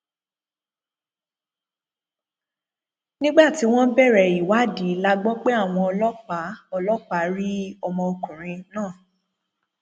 nígbà tí wọn bẹrẹ ìwádìí la gbọ pé àwọn ọlọpàá ọlọpàá rí òkú ọmọkùnrin náà